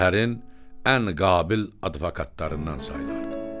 Şəhərin ən qabil advokatlarından sayılırdı.